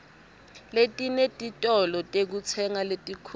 letinetitolo tekutsenga letinkhulu